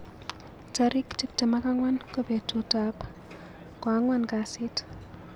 Tarin tuptem ak angwan ko betutab ko angwan kasit